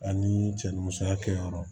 Ani cɛ ni musoya kɛyɔrɔ